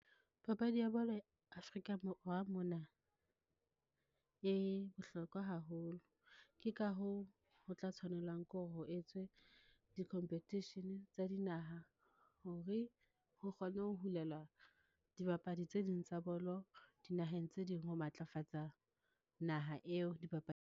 Papadi ya bolo Afrika Borwa mona e bohlokwa haholo. Ke ka hoo, ho tla tshwanelang ke hore ho etswe di-competition tsa dinaha, hore ho kgone ho hulelwa dibapadi tse ding tsa bolo dinaheng tse ding ho matlafatsa naha eo .